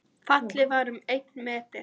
Fallið var um einn meter